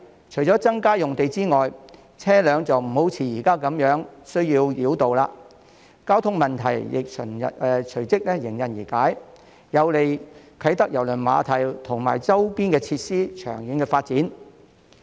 除了增加用地之外，車輛也就無需像現時般繞道，交通問題亦隨即迎刃而解，有利啟德郵輪碼頭及周邊設施的長遠發展。